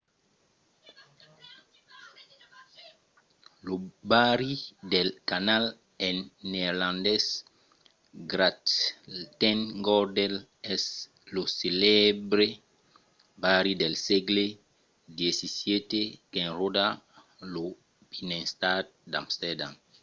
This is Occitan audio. lo barri dels canals en neerlandés: grachtengordel es lo celèbre barri del sègle xvii qu'enròda lo binnenstad d'amsterdam